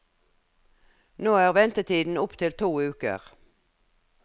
Nå er ventetiden opp til to uker.